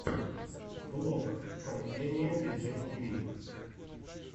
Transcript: влог пайэниэ диджей тиви